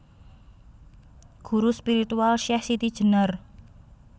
Guru spiritual Syeh SitiJenar